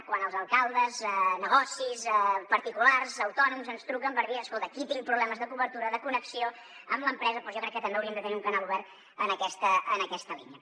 quan els alcaldes negocis particulars autònoms ens truquen per dir escolta aquí tinc problemes de cobertura de connexió amb l’empresa doncs jo crec que també hauríem de tenir un canal obert en aquesta línia